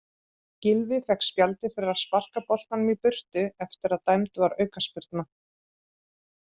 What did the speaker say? Gylfi fékk spjaldið fyrir að sparka boltanum í burtu eftir að dæmd var aukaspyrna.